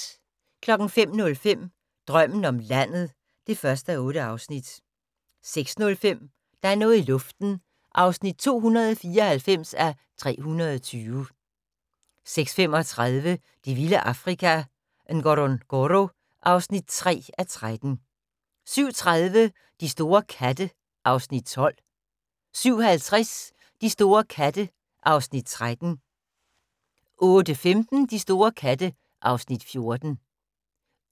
05:05: Drømmen om landet (1:8) 06:05: Der er noget i luften (294:320) 06:35: Det vilde Afrika - Ngorongoro (3:13) 07:30: De store katte (Afs. 12) 07:50: De store katte (Afs. 13) 08:15: De store katte (Afs. 14)